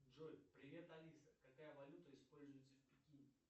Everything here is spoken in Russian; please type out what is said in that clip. джой привет алиса какая валюта используется в пекине